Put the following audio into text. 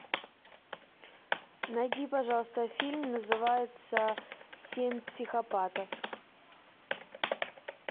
найди пожалуйста фильм называется семь психопатов